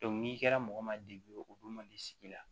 n'i kɛra mɔgɔ ma o dun man di sigi la